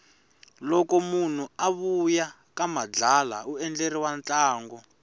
loko munhu a vuya ka madlala undleriwa ntlango